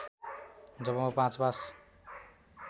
जब म ५ पास